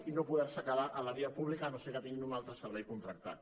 i no poder se quedar a la via pública si no és que tenen un altre servei contractat